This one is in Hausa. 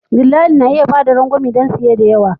Dillali na iya bayar da rangwame don siye da yawa.